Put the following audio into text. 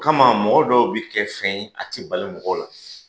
O kama mɔgɔ dɔw bi kɛ fɛn a tɛ bali mɔgɔw la.